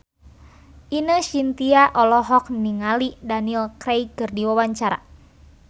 Ine Shintya olohok ningali Daniel Craig keur diwawancara